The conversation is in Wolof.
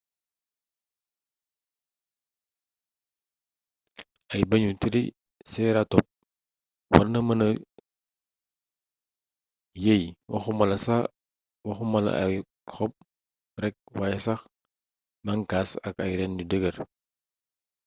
ay bëñu triceratops warna mëna yeey waxumala ay xob rekk wayé sax ay banxaas ak ay reeen yu dëggër